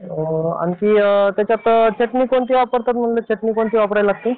आणखी त्याच्यात चटणी कोणती वापरतात म्हणलं? कोणती वापरावी लागते?